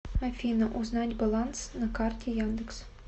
афина узнать баланс на карте яндекс